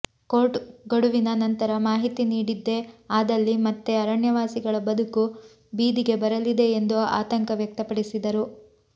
court ಗಡುವಿನ ನಂತರ ಮಾಹಿತಿ ನೀಡಿದ್ದೇ ಆದಲ್ಲಿ ಮತ್ತೆ ಅರಣ್ಯವಾಸಿಗಳ ಬದುಕು ಬಿದಿಗೆ ಬರಲಿದೆ ಎಂದು ಆತಂಕ ವ್ಯಕ್ತಪಡಿಸಿದರು